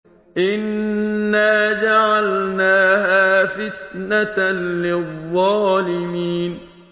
إِنَّا جَعَلْنَاهَا فِتْنَةً لِّلظَّالِمِينَ